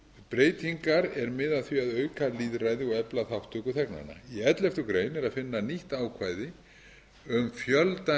breytingar er miða að því að auka lýðræði og efla þátttöku þegnanna í elleftu grein er að finna nýtt ákvæði um fjölda